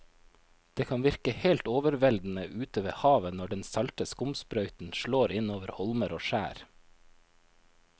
Det kan virke helt overveldende ute ved havet når den salte skumsprøyten slår innover holmer og skjær.